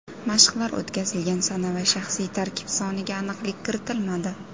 Mashqlar o‘tkazilgan sana va shaxsiy tarkib soniga aniqlik kiritilmadi.